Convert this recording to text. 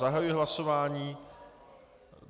Zahajuji hlasování.